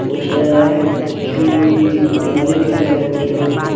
Poster है happy Diwali लिखेला है पोस्टर मे।